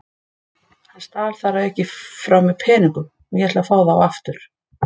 Hann stal þar að auki frá mér peningum og ég ætla að fá þá aftur.